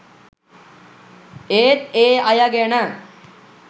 ඒත් ඒ අය ගැන